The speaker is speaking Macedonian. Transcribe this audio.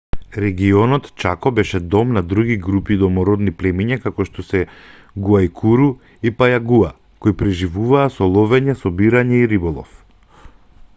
регионот чако беше дом на други групи домородни племиња како што се гуајкуру и пајагуа кои преживуваа со ловење собирање и риболов